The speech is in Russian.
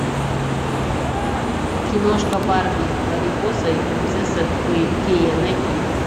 киношка барби марипоса и принцесса фея найти